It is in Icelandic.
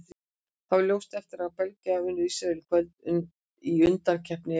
Þetta varð ljóst eftir að Belgar unnu Ísrael í kvöld í undankeppni EM.